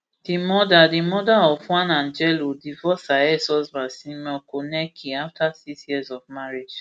di mother di mother of one angelo divorce her exhusband simon konecki afta six years of marriage